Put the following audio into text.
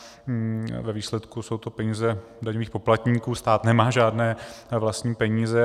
Ve výsledku jsou to peníze daňových poplatníků, stát nemá žádné vlastní peníze.